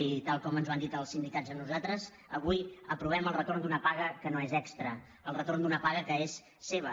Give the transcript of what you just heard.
i tal com ens ho han dit els sin·dicats a nosaltres avui aprovem el retorn d’una paga que no és extra el retorn d’una paga que és seva